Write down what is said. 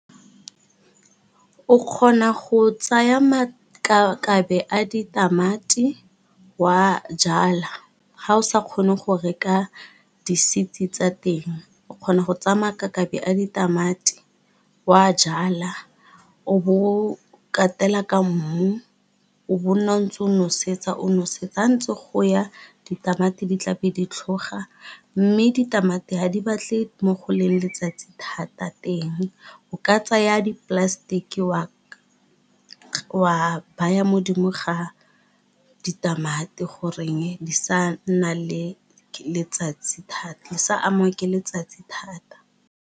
O kgona go tsaya makakabe a ditamati wa jala ga o sa kgone go reka di seed tsa teng o kgona go tsaya makakabe a ditamati wa jala o bo o katela ka mmu o bo nna o ntse o nosetsa ha ntse go ya ditamati di tla be di tlhoga, mme ditamati ha di batle mo go leng letsatsi thata teng o ka tsaya di plastic wa baya modimo ga ditamati goreng di sa nna le letsatsi thata di sa amiwa ke letsatsi thata.